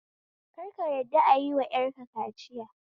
Kar ka yadda ayiwa 'yar ka kaciya